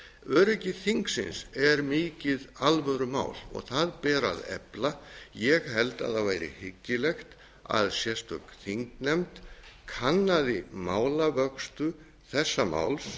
öryggi þingsins er mikið alvörumál og það ber að efla ég held að það væri hyggilegt að sérstök þingnefnd kannaði málavöxtu þessa máls